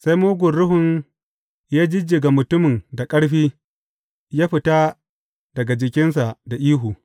Sai mugun ruhun ya jijjiga mutumin da ƙarfi, ya fita daga jikinsa da ihu.